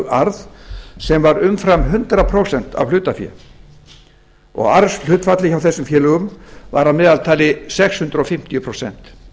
arð sem var umfram hundrað prósent af hlutafé og arðshlutfallið hjá þessum félögum var að meðaltali sex hundruð fimmtíu prósent